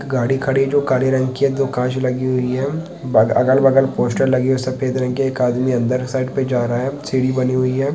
गाड़ी खड़ी जो काले रंग की है जो कांच लगी हुई हैं अगल बगल पोस्टर लगी हुई हैं सफेद रंग की एक आदमी अंदर साइड पे जा रहा है सीडी बनी हुई हैं